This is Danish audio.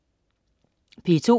P2: